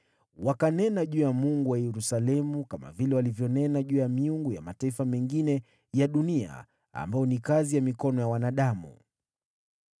Wakanena juu ya Mungu wa Yerusalemu kama vile walivyonena juu ya miungu ya mataifa mengine ya dunia ambayo ni kazi ya mikono ya wanadamu.